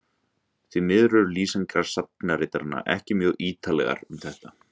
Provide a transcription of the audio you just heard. því miður eru lýsingar sagnaritaranna ekki mjög ýtarlegar um þetta